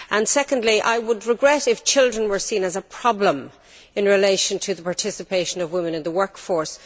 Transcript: Secondly, I would regret it if children were seen as a problem' in relation to the participation of women in the workforce.